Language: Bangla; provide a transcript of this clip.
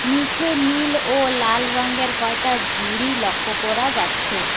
নিচে নীল ও লাল রঙের কয়টা ঝুড়ি লক্ষ করা যাচ্ছে।